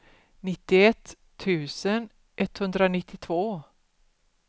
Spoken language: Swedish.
nittioett tusen etthundranittiotvå